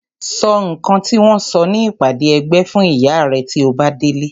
Sọ nǹkan tí wọ́n sọ ní ìpàdé ẹgbẹ́ fún ìyá rẹ tí o bá délé.